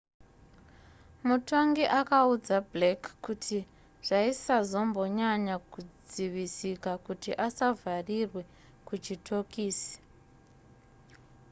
mutongi akaudza blake kuti zvaisazombonyanya kudzivisika kuti asavharirwe kuchitokisi